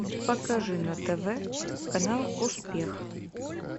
покажи на тв канал успех